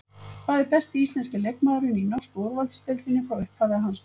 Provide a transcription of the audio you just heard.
Hver er besti íslenski leikmaðurinn í norsku úrvalsdeildinni frá upphafi að hans mati?